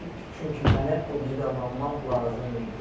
Çünki mənə o qidalanma lazım idi.